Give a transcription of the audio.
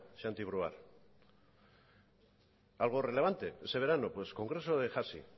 santi brouard algo relevante ese verano pues congreso de hasi